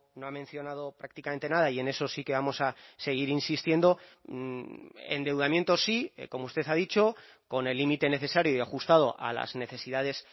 no ha mencionado prácticamente nada y en eso sí que vamos a seguir insistiendo endeudamiento sí como usted ha dicho con el límite necesario y ajustado a las necesidades